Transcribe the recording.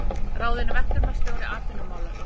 Ráðinn verkefnisstjóri atvinnumála